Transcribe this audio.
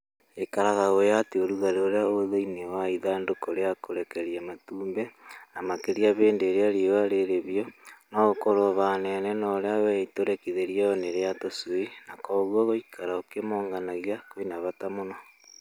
Ikaraga ũĩ atĩ ũrugarĩ ũrĩa wĩ thĩinĩ wa ithandũkũ rĩa kũrekerio matumbĩ, na makĩria hĩndĩ ĩrĩa riũa rĩrĩhiũ, no ũkorwo ũhanaine na ũrĩa wĩ itũrĩkithĩrio -inĩ rĩa tũcui na kwoguo gũikara ũkĩmonganagia kwĩna bata mũno.